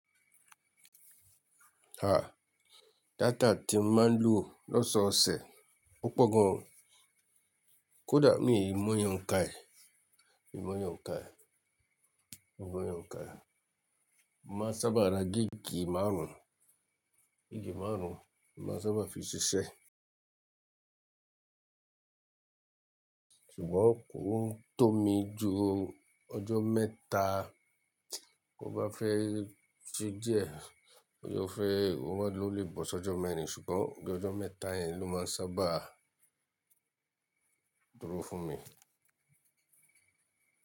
Ah, data tí n máa ń lò lọ́sọ̀ọ̀sẹ̀, ó pọ̀ gan. Kódà mí ìmọ̀ iyẹ ouǹka è, mìmọ̀ iyẹn ouǹka è, mìmọ̀ iyẹ ouǹka è. Màá sábà ra gíìgì márùn, gíìgì márùn màá sábà fi ṣiṣẹ́. Ṣùgbọ́n kò tọ́ mi ju ọjọ́ mẹ́ta, kó bá fẹ́ ṣí díẹ̀, ó fẹ́, ó máa lè bọ́ ṣọjọ́ mẹ́rin ṣùgbọ́n bí ọjọ́ mẹ́ta yẹn ló máa ń sábà dúró fún mi.